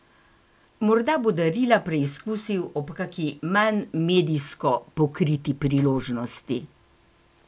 Morda bo darila preizkusil ob kaki manj medijsko pokriti priložnosti?